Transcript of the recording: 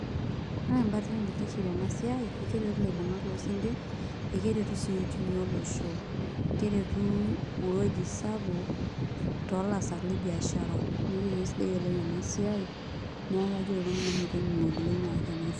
Ore embate naitiship tena siai naa ekeretu ilaibung'ak loo sinkirr ekeretu sii uchumi olosho keretu ewueji sapuk toolaasak le biashara neeku kesidai oleng' ena siai neeku kajoki iltung'anak metainyuaa oleng' aas ena siai.